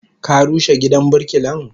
Ka rushe gidan birkilan?